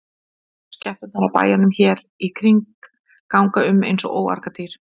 Skepnurnar af bæjunum hér í kring ganga um eins og óargadýr.